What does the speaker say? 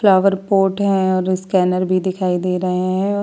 Flower pot है और scanner भी दिखाई दे रहे हैं।